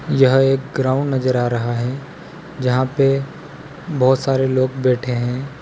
यह एक ग्राउंड नजर आ रहा है जहां पे बहुत सारे लोग बैठे हैं।